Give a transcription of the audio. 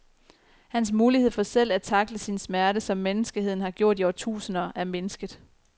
Hans mulighed for selv at tackle sin smerte, som menneskeheden har gjort i årtusinder, er mindsket.